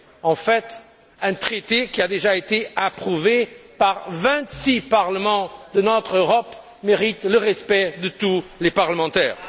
en fait, un traité qui a déjà été approuvé par vingt six parlements de notre Europe mérite le respect de tous les parlementaires.